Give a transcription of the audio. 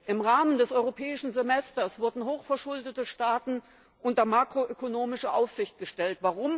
Im Rahmen des Europäischen Semesters wurden hochverschuldete Staaten unter makroökonomische Aufsicht gestellt.